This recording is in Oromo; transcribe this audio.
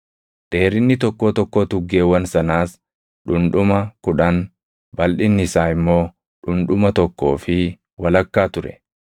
Dheerinni tokkoo tokkoo tuggeewwan sanaas dhundhuma kudhan, balʼinni isaa immoo dhundhuma tokkoo fi walakkaa ture.